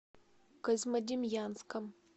козьмодемьянском